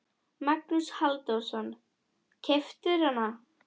Magnús Halldórsson: Keyptirðu hann?